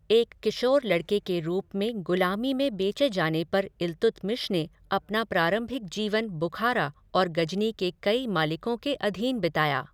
एक किशोर लड़के के रूप में गुलामी में बेचे जाने पर इल्तुतमिश ने अपना प्रारंभिक जीवन बुखारा और गजनी के कई मालिकों के अधीन बिताया।